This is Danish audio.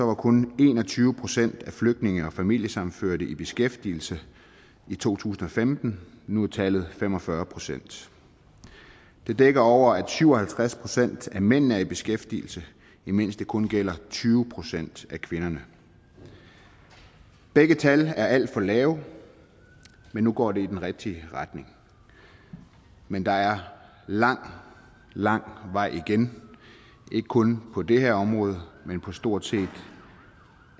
var kun en og tyve procent af flygtninge og familiesammenførte i beskæftigelse i to tusind og femten nu er tallet fem og fyrre procent det dækker over at syv og halvtreds procent af mændene er i beskæftigelse imens det kun gælder tyve procent af kvinderne begge tal er alt for lave men nu går det i den rigtige retning men der er lang lang vej igen ikke kun på det her område men på stort set